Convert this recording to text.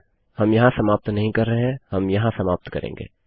हम यहाँ समाप्त नहीं कर रहें160 हम यहाँ समाप्त करेंगे